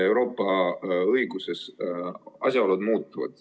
Euroopa õiguses asjaolud muutuvad.